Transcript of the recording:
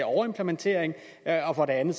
overimplementering og for det andet